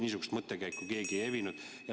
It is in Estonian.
Niisugust mõttekäiku keegi ei evinud.